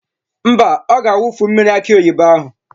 Mba, ọ ga-awufu mmiri akị oyibo ahụ.